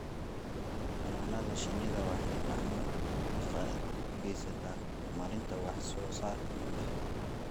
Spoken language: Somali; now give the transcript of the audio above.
Xannaanada shinnidu waxay gacan ka geysataa horumarinta wax soo saarka gudaha.